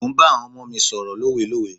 Mò ń bá àwọn ọmọ mi sọ̀rọ̀ lówelówe.